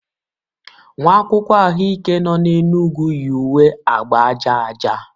nwa akwụkwọ ahụike nọ na Enugwu yi uwe agba aja aja